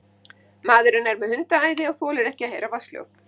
Maðurinn er með hundaæði og þolir ekki að heyra vatnshljóð.